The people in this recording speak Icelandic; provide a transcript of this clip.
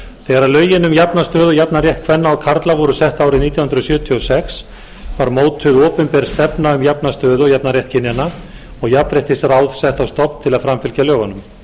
þegar lögin um jafna stöðu og jafnan rétt kvenna og karla voru sett árið nítján hundruð sjötíu og sex var mótuð opinber stefna um jafna stöðu og jafnan rétt kynjanna og jafnréttisráð sett á stofn til að framfylgja lögunum